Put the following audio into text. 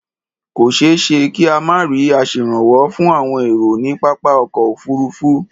Kò ṣeé ṣe ka má rí aṣèrànwọ́ fún àwọn èrò ní pápá ọkọ̀ òfuurufú.